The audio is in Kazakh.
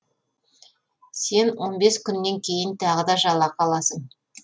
сен он бес күннен кейін тағы да жалақы аласын